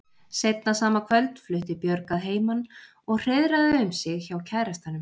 Seinna sama kvöld flutti Björg að heiman og hreiðraði um sig hjá kærastanum.